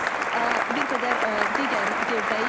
Biz bir qədər digər yerdəyik.